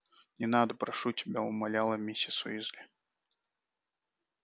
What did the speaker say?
не надо прошу тебя умоляла миссис уизли